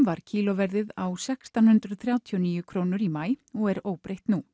var kílóverðið á sextán hundruð þrjátíu og níu krónur í maí og er óbreytt nú